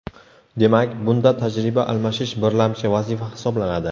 Demak, bunda tajriba almashish birlamchi vazifa hisoblanadi.